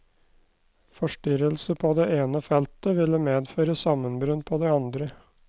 Forstyrrelse på det ene feltet ville medføre sammenbrudd på det andre.